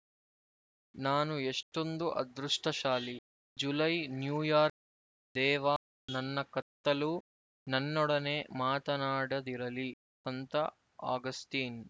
ನಾನು ಎಷ್ಟೊಂದು ಅದೃಷ್ಟಶಾಲಿ ಜುಲೈ ನ್ಯೂಯಾರ್ಕ್ ದೇವಾ ನನ್ನ ಕತ್ತಲು ನನ್ನೊಡನೆ ಮಾತನಾಡದಿರಲಿ ಸಂತ ಅಗಸ್ಟೀನ್